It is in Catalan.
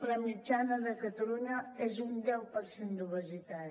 la mitjana de catalunya és un deu per cent d’obesitat